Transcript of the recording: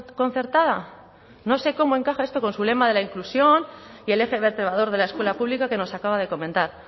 concertada no sé cómo encaja esto con su lema de la inclusión y el eje vertebrador de la escuela pública que nos acaba de comentar